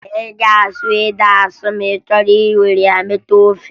Ị ga-asụ ede asụ ma ị chọọ iwere ya sie ofe